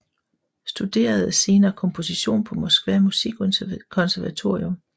Studerede senere komposition på Moskva musikkonservatorium